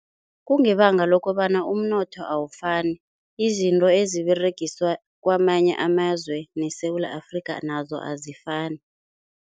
Kungebanga lokobana umnotho awafani, izinto eziberegiswa kwamanye amazwe neSewula Afrika nazo azifani.